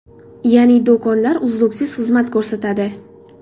Ya’ni do‘konlar uzluksiz xizmat ko‘rsatadi.